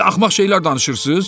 Belə axmaq şeylər danışırsız?